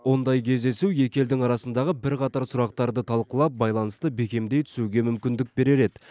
ондай кездесу екі елдің арасындағы бірқатар сұрақтарды талқылап байланысты бекемдей түсуге мүмкіндік берер еді